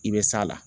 I bɛ s'a la